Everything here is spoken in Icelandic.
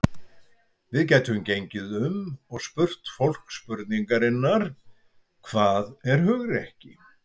Við gætum gengið um og spurt fólk spurningarinnar: Hvað er hugrekki?